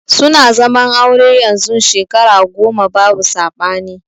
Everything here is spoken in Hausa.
Suna zaman aure yanzun Shekara goma babu sabani.